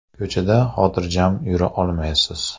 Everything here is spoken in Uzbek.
Ko‘chada xotirjam yura olmaysiz.